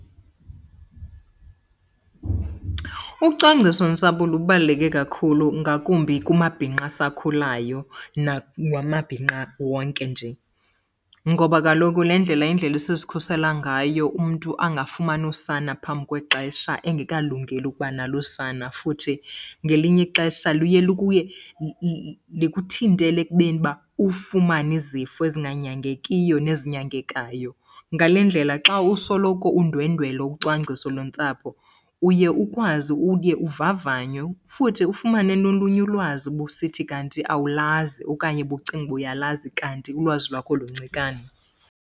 Ucwangcisontsapho lubaluleke kakhulu ngakumbi kumabhinqa asakhulayo namabhinqa wonke nje. Ngoba kaloku le ndlela yindlela esizikhusela ngayo umntu angafumani usana phambi kwexesha engekalungeli ukuba nalo usana. Futhi ngelinye ixesha luye likuthintele ekubeni uba ufumane izifo ezinganyangekiyo nezinyangekayo. Ngale ndlela xa usoloko undwendwela ucwangciso lwentsapho uye ukwazi uye uvavanywe futhi ufumane nolunye ulwazi ubusithi kanti awulazi okanye ubucinga uba uyalazi kanti ulwazi lwakho luncikane.